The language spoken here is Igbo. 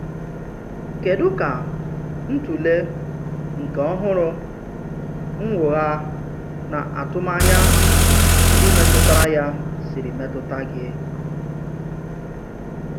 Kédù ka ntụ̀lè nke ọhụ́rụ́ nnwògha na atụmànyà ndị metụtara ya sìrì metụta gị?